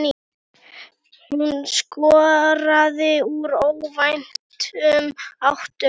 Hún skoraði úr óvæntum áttum.